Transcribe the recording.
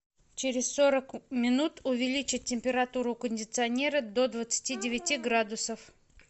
через сорок минут увеличить температуру у кондиционера до двадцати девяти градусов